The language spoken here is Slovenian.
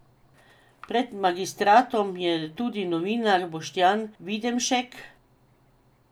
Pred magistratom je tudi novinar Boštjan Videmšek.